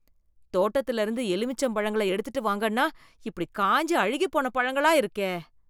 தோட்டத்துலருந்து எலுமிச்சம் பழங்கள எடுத்துட்டு வாங்கன்னா, இப்படி காய்ஞ்சு, அழுகிப் போன பழங்களா இருக்கே.